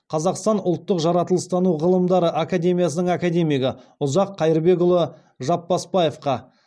қазақстан ұлттық жаратылыстану ғылымдары академиясының академигі ұзақ қайырбекұлы жапбасбаевқа